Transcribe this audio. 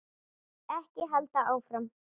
Ekki halda áfram.